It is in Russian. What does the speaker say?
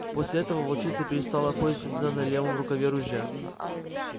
после этого волчица перестала охотиться на левом рукаве ружья